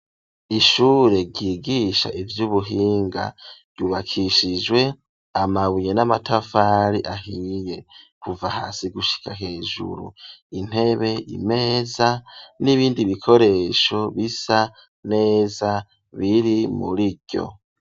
Ishure ryigisha ivy'ubuhinga ryubakishijwe amabuye n'amatafari ahiye, kuva hasi gushika hejuru, intebe, imeza n'ibindi bikoresho bisa neza biri muriryo.